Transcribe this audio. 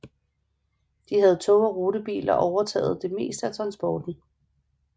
Da havde tog og rutebiler overtaget det meste af transporten